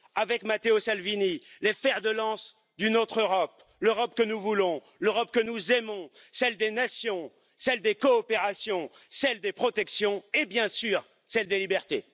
avec Matteo Salvini, les fers de lance d'une autre Europe, l'Europe que nous voulons, l'Europe que nous aimons, celle des nations, celle des coopérations, celle des protections, et, bien sûr, celle des libertés.